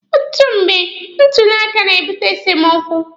Ọtụtụ mgbe, ntuli aka na-ebute esemokwu.